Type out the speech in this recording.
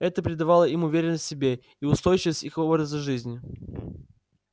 это придавало им уверенность в себе и устойчивость их образа жизни